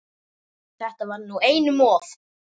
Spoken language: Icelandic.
Þetta var nú einum of!